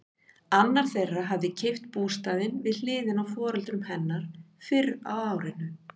Annar þeirra hafði keypt bústaðinn við hliðina á foreldrum hennar fyrr á árinu.